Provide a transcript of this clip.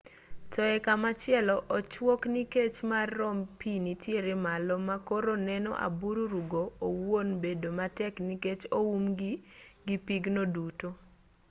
to e komachielo ochuok nikech kar romb pi nitiere malo ma koro neno abururu go owuon bedo matek nikech oumgi gi pigno duto